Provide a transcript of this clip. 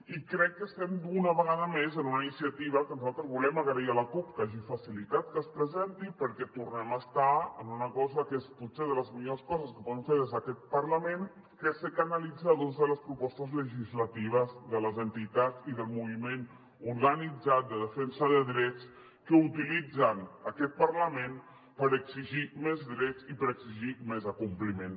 i crec que estem una vegada més en una iniciativa que nosaltres volem agrair a la cup que hagi facilitat que es presenti perquè tornem a estar en una cosa que és potser de les millors coses que podem fer des d’aquest parlament que és ser canalitzadors de les propostes legislatives de les entitats i del moviment organitzat de defensa de drets que utilitzen aquest parlament per exigir més drets i per exigir més acompliment